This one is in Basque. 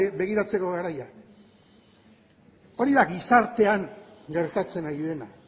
begiratzeko garaia hori da gizartean gertatzen ari dena